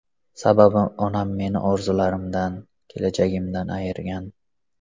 Sababi onam meni orzularimdan, kelajagimdan ayirgan.